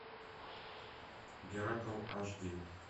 геракл аш ди